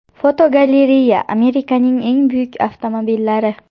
Fotogalereya: Amerikaning eng buyuk avtomobillari.